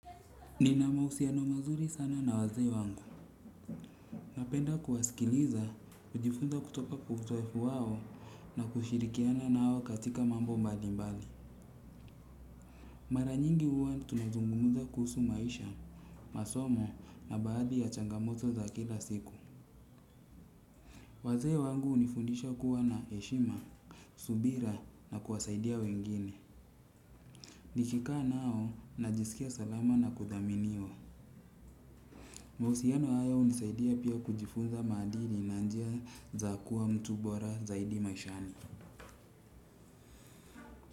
Nina mahusiano mazuri sana na wazee wangu. Napenda kuwasikiliza kujifunza kutoka kwa uzoefu wao na kushirikianao katika mambo mbalimbali. Mara nyingi huwa tunazungumuza kuhusu maisha, masomo na baadhi ya changamoto za kila siku. Wazee wangu hunifundisha kuwa na heshima, subira na kuwasaidia wengine. Nilikaa nao na jisikia salama na kudhaminiwa. Mahusiano hayo hunisaidia pia kujifunza madili na njia za kuwa mtu bora zaidi maishani.